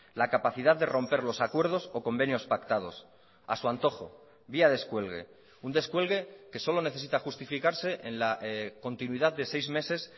la capacidad de romper los acuerdos o convenios pactados a su antojo vía descuelgue un descuelgue que solo necesita justificarse en la continuidad de seis meses